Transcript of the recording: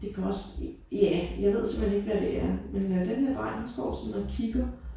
Det kan også ja jeg ved simpelthen ikke hvad det er men øh den her dreng han står simpelthen og kigger